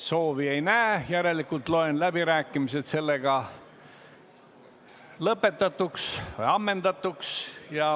Soovi ei näe, järelikult loen läbirääkimised lõppenuks.